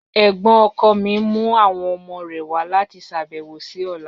Ẹ̀gbọ́̀n ọkọ mi n mu awọn ọmọ rẹ wa lati ṣabẹwo si ọla.